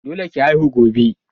Dole ki haihu gobe.